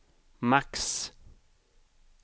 max